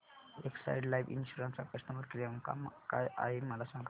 Exide life insurance चा customer care क्रमांक काय आहे मला सांगा